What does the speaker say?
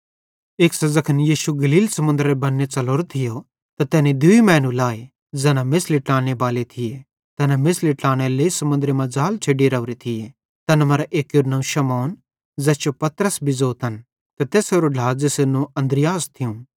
एक्सां ज़ैखन यीशु गलील समुन्दरेरे बन्ने च़लोरो थियो त तैनी दूई मैनू लाए ज़ैना मेछ़ली ट्लानेबाले थिये तैना मेछ़ली ट्लानेरे लेइ समुन्दरे मां ज़ाल छ़ेड्डी राओरे थिये तैन मरां एक्केरू नवं शमौन ज़ैस जो पतरस भी ज़ोतन ते तैसेरो ढ्ला ज़ेसेरू नवं अन्द्रियास थियूं